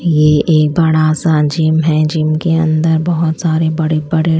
ये एक बड़ा सा जिम है जिम के अंदर बहोत सारे बड़े बड़े--